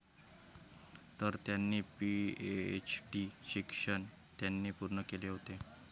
तर त्यांनी पीएचडीचे शिक्षण त्यांनी पूर्ण केले होते.